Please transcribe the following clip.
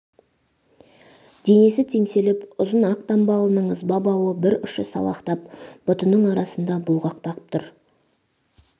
денес теңселіп ұзын ақ дамбалының ызба бауы бір ұшы салақтап бұтының арасында бұлғақтап тұр